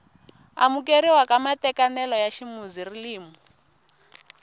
amukeriwa ka matekanelo ya ximuzilimi